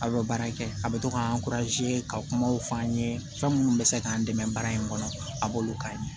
A bɛ baara kɛ a bɛ to k'an ka kumaw fɔ an ye fɛn minnu bɛ se k'an dɛmɛ baara in kɔnɔ a b'olu k'a ye